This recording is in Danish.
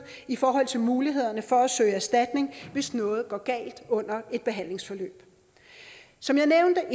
i forhold til mulighederne for at søge erstatning hvis noget går galt under et behandlingsforløb som jeg nævnte